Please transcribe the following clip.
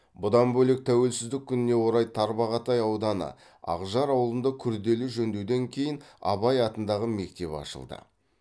бұдан бөлек тәуелсіздік күніне орай тарбағатай ауданы ақжар ауылында күрделі жөндеуден кейін абай атындағы мектеп ашылды